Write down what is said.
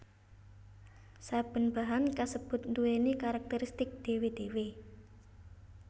Saben bahan kasebut nduwèni karakteristik dhéwé dhéwé